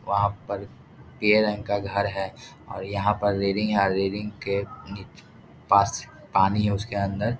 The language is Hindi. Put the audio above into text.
वहाँ पर पीले रंग का घर है और यहाँ पर रेलिंग रेलिंग के पास में पानी है उसके अंदर --